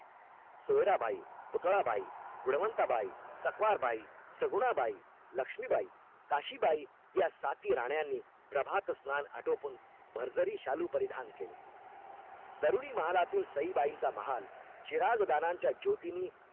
सकवारबाई, शगुणाबाई, लक्ष्मीबाई, काशीबाई यासाती राण्यांनी प्रभात स्नान आटोपून भरजरी शालू परिधान केले दरुणी महालातील सईबाईचा महान चिराग दानाच्या ज्योतिनी